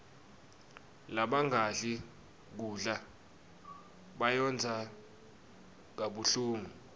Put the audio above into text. labangadli kudla bayondza kabuhlungu